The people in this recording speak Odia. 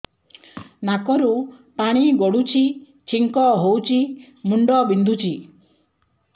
ନାକରୁ ପାଣି ଗଡୁଛି ଛିଙ୍କ ହଉଚି ମୁଣ୍ଡ ବିନ୍ଧୁଛି